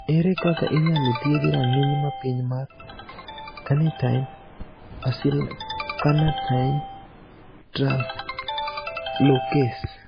Ere kaka inyalo thiedhi rang`iny mapiny mar carnitine acylcarnitine translocase?